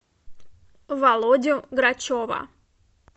володю грачева